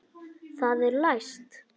Það er læst!